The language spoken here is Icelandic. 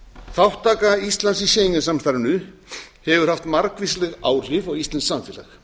þátttaka íslands í schengen samstarfinu hefur haft margvísleg áhrif á íslenskt samfélag